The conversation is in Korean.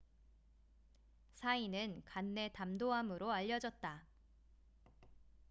사인死因은 간내 담도암으로 알려졌다